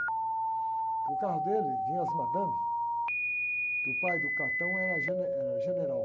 Porque o carro dele vinha as madames, porque o pai do cartão era gene, general.